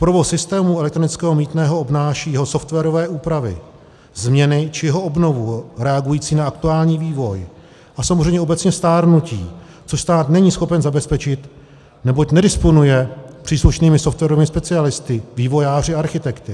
Provoz systému elektronického mýtného obnáší jeho softwarové úpravy, změny či jeho obnovu reagující na aktuální vývoj a samozřejmě obecně stárnutí, což stát není schopen zabezpečit, neboť nedisponuje příslušnými softwarovými specialisty, vývojáři a architekty.